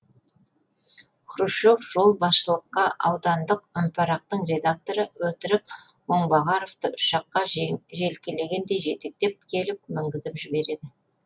хрущев жол басшылыққа аудандық үнпарақтың редакторы өтірік оңбағаровты ұшаққа желкелегендей жетектеп келіп мінгізіп жібереді